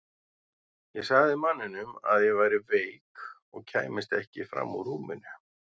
Ég sagði manninum að ég væri veik og kæmist ekki fram úr rúminu.